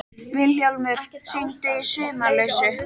Vilhjálmur, hringdu í Sumarlausu.